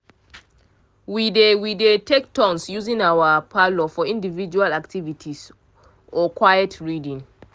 we dey we dey take turns using our parlour for individual activities or quiet reading.